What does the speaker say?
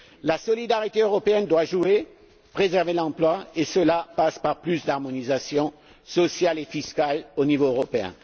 La solidarité européenne doit jouer, préserver l'emploi et cela passe par plus d'harmonisation sociale et fiscale au niveau européen.